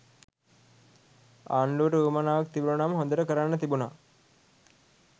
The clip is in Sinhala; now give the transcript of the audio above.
ආණ්ඩුවට උවමනාවක් තිබුනනම් හොදට කරන්න තිබුනා.